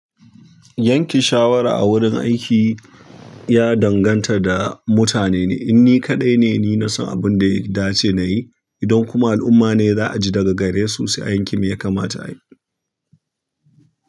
Yanke shawara a wurin aiki ya danganta da mutanene. Inni kaɗai ne, ni na san abin da ya dace na yi. Idan kuma al'umma ne za a ji daga gare su, sai yankin ya kamata a yi.